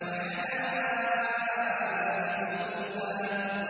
وَحَدَائِقَ غُلْبًا